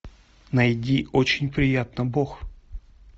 найди очень приятно бог